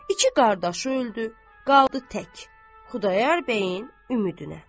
İki qardaşı öldü, qaldı tək Xudayar bəyin ümidinə.